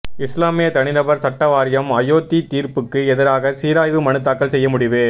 இஸ்லாமிய தனிநபர் சட்ட வாரியம் அயோத்தி தீர்ப்புக்கு எதிராக சீராய்வு மனு தாக்கல் செய்ய முடிவு